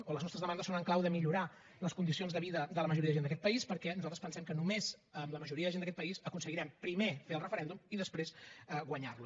o les nostres demandes són en clau de millorar les condicions de vida de la majoria de gent d’aquest país perquè nosaltres pensem que només amb la majoria de gent d’aquest país aconseguirem primer fer el referèndum i després guanyar lo